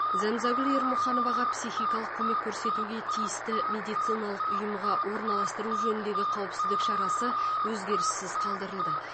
зәмзагүл ермұхановаға психикалық көмек көрсетуге тиісті медициналық ұйымға орналастыру жөніндегі қауіпсіздік шарасы өзгеріссіз қалдырылды